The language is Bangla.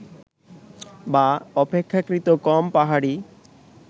বা অপেক্ষাকৃত কম পাহাড়ি